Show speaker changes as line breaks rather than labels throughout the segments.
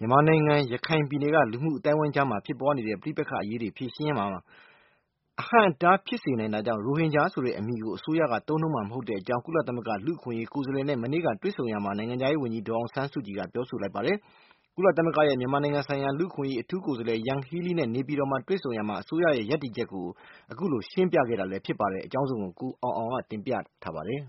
မြန်မာနိုင်ငံ ရခိုင်ပြည်နယ်က လူမှုအသိုင်းအဝိုင်းကြားမှာ ဖြစ်ပွားခဲ့တဲ့ ပဋိပက္ခတွေ အရေး ဖြေရှင်းရာမှာ အဟန့်အတား ဖြစ်စေနိုင်တာကြောင့် ရိုဟင်ဂျာ ဆိုတဲ့ အမည်ကို အစိုးရက သုံးနှုန်းမှာ မဟုတ်တဲ့အကြောင်း ကုလသမဂ္ဂ လူ့အခွင့်အရေး ကိုယ်စားလှယ်နဲ့ ဒီကနေ့ တွေ့ဆုံရာမှာ နိုင်ငံခြားရေး ဝန်ကြီး ဒေါ်အောင်ဆန်းစုကြည်က ပြောဆိုလိုက်ပါတယ်။ ကုလသမဂ္ဂရဲ့ မြန်မာနိုင်ငံဆိုင်ရာ လူ့အခွင့်အရေး အထူး ကိုယ်စားလှယ် Yanghee Lee နဲ့ နေပြည်တော်မှာ တွေ့ဆုံရာမှာ အစိုးရရဲ့ ရပ်တည်ချက်ကို အခုလို ရှင်းပြခဲ့တာပါ။ ကိုအောင်အောင်က တင်ပြပေးထားပါတယ်။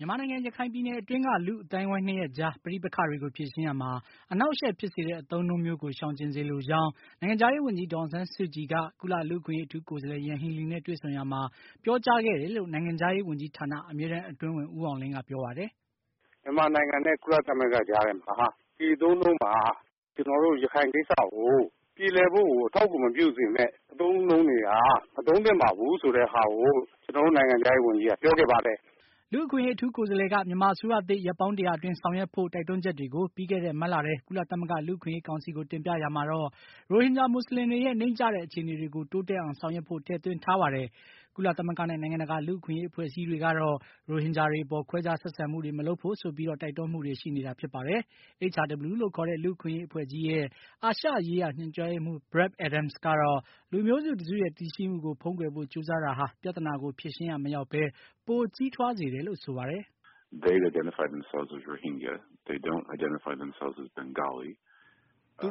မြန်မာနိုင်ငံ ရခိုင်ပြည်နယ် အတွင်းက အခုလို လူ့ အသိုင်းအဝိုင်း ၂ ရပ်ကြားက ပဋိပက္ခတွေကို ဖြေရှင်းရာမှာ အနှောက်အယှက်ဖြစ်စေတဲ့ အသုံးအနှုန်း မျိုးကို ရှောင်ကျဉ်စေလိုကြောင်း နိုင်ငံခြားရေးဝန်ကြီး ဒေါ်အောင်ဆန်းစုကြည်က ကုလ လူ့အခွင့်အရေး အထူးကိုယ်စားလှယ် ယန်ဟီးလီးနဲ့ တွေ့ဆုံ ရာမှာ ပြောကြားခဲ့တယ်လို့ နိုင်ငံခြားရေး ဝန်ကြီးဌာန အမြဲတန်းအတွင်းဝန် ဦးအောင်လင်းက ပြောပါတယ်
။ “မြန်မာနိုင်ငံနဲ့ ကုလသမဂ္ဂ ကြားထဲမှာ ကျွန်တော်တို့ ရခိုင်ကိစ္စကို ပြေလည်ဖို့ကို အထောက်အကူ မဖြစ်စေတဲ့ စကားလုံး အသုံးအနှုန်းတွေကို မသုံးသင့်ပါဘူး ဆိုတဲ့ ဟာကို ကျွန်တော်တို့ နိုင်ငံခြားရေး ဝန်ကြီးက ပြောခဲ့ပါတယ်။
” လူ့အခွင့်အရေး အထူးကိုယ်စားလှယ်က မြန်မာအစိုးရသစ် ရက်ပေါင်း ၁၀၀ အတွင်း ဆောင်ရွက်ဖို့ တိုက်တွန်းချက်တွေကို ပြီးခဲ့တဲ့ မတ်လထဲ ကုလသမဂ္ဂ လူ့အခွင့်အရေး ကောင်စီကို တင်ပြရာမှာတော့ ရိုဟင်ဂျာမူဆလင်တွေရဲ့ နိမ့်ကျတဲ့ အခြေအနေတွေကို တိုးတက်အောင် ဆောင်ရွက်ဖို့ ထည့်သွင်းထားတာပါ။ ကုလသမဂ္ဂနဲ့ နိုင်ငံတကာ လူ့အခွင့်အရေး အဖွဲ့အစည်းတွေကတော့ ရိုဟင်ဂျာတွေ အပေါ် ခွဲခြားဆက်ဆံမှုတွေ မလုပ်ဖို့ဆိုပြီး တိုက်တွန်းမှုတွေ ရှိနေတာ ဖြစ်ပါတယ်။ HRW လို့ ခေါ်တဲ့ လူ့အခွင့်အရေးအဖွဲ့ကြီးရဲ့ အာရှရေးရာ ညွှန်ကြားရေးမှုး Brad Adam ကတော့ လူမျိုးစုတစုရဲ့ တည်ရှိမှုကို ဖုံးကွယ်ဖို့ ကြိုးစားတာ ဟာ ပြဿနာကို ဖြေရှင်းရာ မရောက်ဘဲ ပိုကြီးထွားစေတယ်လို့ ဆိုပါတယ်။ ”
သူတ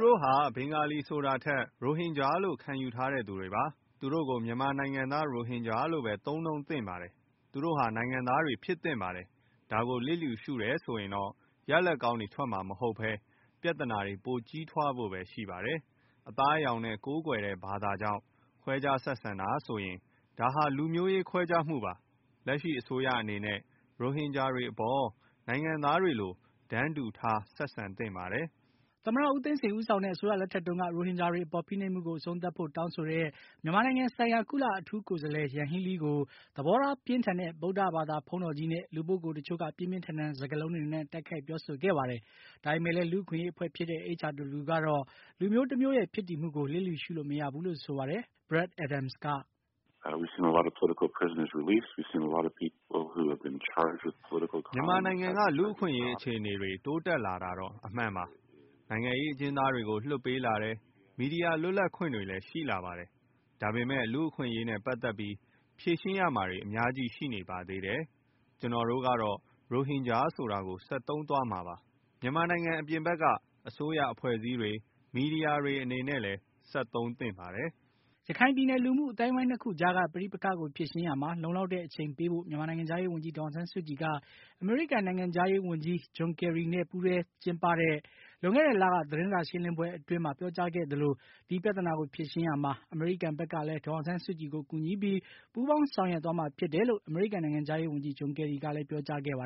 ို့ဟာ ဘင်္ဂါလီဆိုတာထက် ရိုဟင်ဂျာလို့ ခံယူထားသူတွေပါ။ သူတို့ိကို မြန်မာနိုင်ငံသား ရိုဟင်ဂျာလို့ပဲ သုံးနှုန်းသင့်ပါတယ်။ သူတို့ဟာ နိုင်ငံသားတွေ ဖြစ်သင့်ပါတယ်။ ဒါကို လစ်လျူရှုတယ်ဆိုရင်တော့ ရလာဘ် ကောင်းထွက်မှာမဟုတ်ဘဲပြဿနာပိုကြီးထွားဖို့ပဲရှိပါတယ်။ အသားအရောင်နဲ့ ကိုးကွယ်တဲ့ ဘာသာကြောင့် ခွဲခြားဆက်ဆံတာဆိုရင် ဒါဟာ လူမျိုးရေးခွဲခြားမှုပါ။ လက်ရှိ အစိုးရအနေနဲ့ ရိုဟင်ဂျာအပေါ် နိုင်ငံသားတွေလို တန်းတူထား ဆက်ဆံ သင့်ပါတယ်။” သမ္မတ ဦးသိန်းစိန် ဦးဆောင်တဲ့ အစိုးရလက်ထက်တုန်းက ရိုဟင်ဂျာတွေအပေါ် ဖိနှိပ်မှုကို အဆုံးသတ်ဖို့ တ
ောင်းဆိုတဲ့ မြန်မာနိုင်ငံဆိုင်ရာ ကုလ အထူးကိုယ်စားလှယ်ကို ယန်ဟီးလီးကို သဘောထားပြင်းထန်တဲ့ ဗုဒ္ဓဘာသာ ဘုန်းတော်ကြီးနဲ့ လူပုဂ္ဂိုလ် တချို့က ပြင်းပြင်းထန်ထန် စကားလုံးတွေနဲ့ တိုက်ခိုက် ပြောဆိုခဲ့ပါတယ်။ ဒါပေမယ့်လည်း လူ့အခွင့်အရေး အဖွဲ့ဖြစ်တဲ့ HRW ကတော့ လူမျိုးတမျိုးရဲ့ ဖြစ်တည်မှုကို လစ်လျူရှုလို့ မရဘူးလို့ ဆိုပါတယ်။ Brad
Adam က ခ
ုလို ပြောပါတယ်။ “မြန်မာနိုင်ငံက
လူ့အခွင့်အရေး အခြေအနေတွေ တိုးတက်လာတာတော့ အမှန်ပါ။ နိုင်ငံရေးအကျဉ်းသားတွေကို လွှတ်ပေးလာတယ်။ မီဒီယာ လွတ်လပ်ခွင့်တွေလည်း ရှိလာပါတယ်။ ဒါပေမယ့် လူ့အခွင့်အရေးနဲ့ ပါတ်သတ်ပြီး ဖြေရှင်းရမှာတွေ အများကြီးရှိနေပါသေးတယ်။ ကျနော်တို့ကတော့ ရိုဟင်ဂျာဆိုတာကို ဆက်သုံးသွားမှာပါ။ မြန်မာနိုင်ငံအပြင်ဘက်က အစိုးရ၊ အဖွဲ့အစည်းတွေ၊ မီဒီယာတွေအနေနဲ့လည်း ဆက်သုံးသင့်ပါတယ်။” ရခိုင်ပြည
်နယ်က အသိုင်းအဝိုင်းနှစ်ခုကြားက ပဋိပက္ခကို ဖြေရှင်းရာမှာ လုံလောက်တဲ့ အချိန်ပေးဖို့ မြန်မာနိုင်ငံခြားရေးဝန်ကြီး ဒေါ်အောင်ဆန်းစုကြည်က အမေရိကန် နိုင်ငံခြားရေးဝန်ကြီး ဂျွန်ကယ်ရီနဲ့ ပူးတွဲသတင်းစာ ရှင်းလင်းပွဲအတွင်း ပြောကြားခဲ့သလိုဒီပြသနာကိုဖြေရှင်းရာမှာ အမေရိကန် ဘက်ကလည်း ဒေါ်အောင်ဆန်းစုကြည်ကို ကူညီပြီး ပူးပေါင်းဆောင်ရွက် မှာ ဖြစ်ကြောင်း အမေရိကန်နိုင်ငံခြားရေး ဝန်ကြီး ဂျွန်ကယ်ရီက လည်း ပြောကြားခဲ့ဘူးပါ